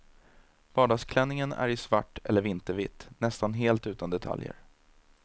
Vardagsklänningen är i svart eller vintervitt, nästan helt utan detaljer.